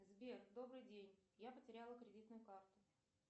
сбер добрый день я потеряла кредитную карту